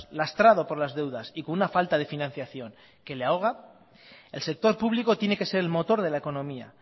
lastrado por las deudas y con una falta de financiación que le ahoga el sector público tiene que ser el motor de la economía